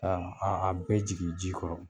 A a a bɛɛ jigin ji kɔrɔ.